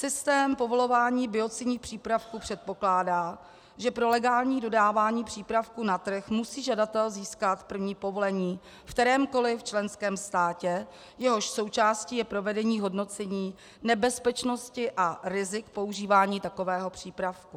Systém povolování biocidních přípravků předpokládá, že pro legální dodávání přípravku na trh musí žadatel získat první povolení ve kterémkoli členském státě, jehož součástí je provedení hodnocení nebezpečnosti a rizik používání takového přípravku.